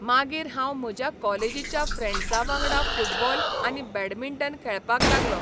मागीर हांव म्हज्या कॉलेजीच्या फ्रॅंडसा वांगडा फुटबॉल आनी बॅडमिंटन खेळपाक लागलो.